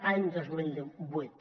any dos mil vuit